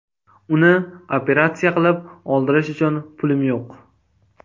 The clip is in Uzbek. Uni operatsiya qilib, oldirish uchun pulim yo‘q.